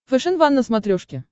фэшен ван на смотрешке